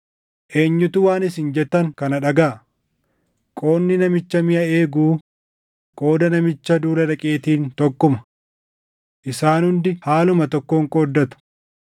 Eenyutu waan isin jettan kana dhagaʼa? Qoodni namicha miʼa eeguu, qooda namicha duula dhaqeetiin tokkuma. Isaan hundi haaluma tokkoon qooddatu.”